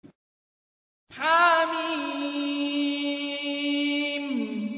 حم